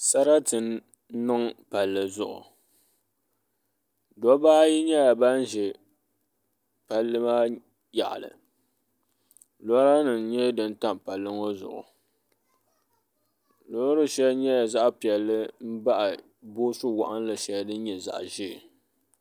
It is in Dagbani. Sarati n niŋ palli zuɣu dabba ayi nyɛla ban ʒɛ palli maa yaɣali lora nim n nyɛ din tam palli ŋɔ zuɣu loori shɛli nyɛla zaɣ piɛlli n baɣa boosu waɣanli shɛli din nyɛ zaɣ ʒiɛ